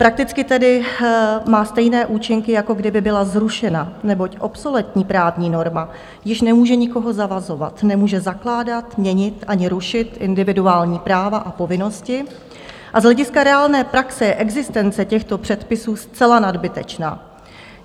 Prakticky tedy má stejné účinky, jako kdyby byla zrušena, neboť obsoletní právní norma již nemůže nikoho zavazovat, nemůže zakládat, měnit ani rušit individuální práva a povinnosti a z hlediska reálné praxe je existence těchto předpisů zcela nadbytečná.